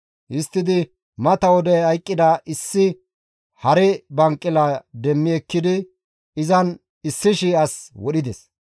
Histtidi mata wode hayqqida issi hare banqila demmi ekkidi izan 1,000 as wodhides.